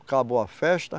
Acabou a festa.